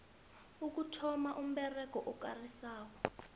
ukuthonnywa komberego okarisako